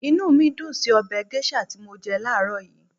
Inú mí dùn ún sí ọbẹ̀ gẹ́ṣà tí mọ jẹ láàrọ́ yìí